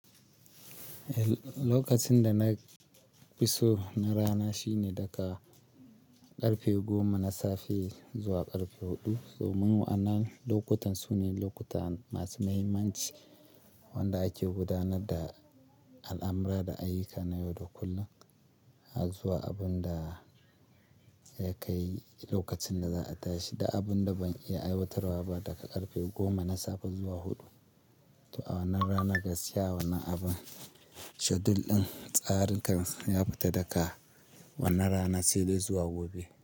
Lokacin da na fi so na rana shine daga ƙarfe goma na safe zuwa ƙarfe huɗu. Domin wa'annan lokutan su ne lokuta masu muhimmanci wanda ake gudanar da al'amura da ayyuka na yau da kullum, zuwa abun da ya kai lokacin da za a tashi da abun da ban iya aiwatarwa ba daga ƙarfe goma na safe zuwa huɗu. To a wannan rana gaskiya wannan abin, schedule ɗin tsarinkan ya fita daga wannan rana sai dai zuwa gobe.